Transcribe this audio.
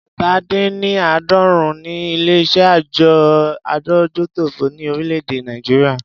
Ẹ̀ta- dín -ní -àádọ́rin ni ilé iṣé àjọ adójútòfò ni orílè-èdè Nàìjíríà.